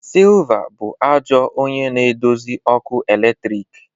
Silver bụ ajọ onye na-eduzi ọkụ eletrik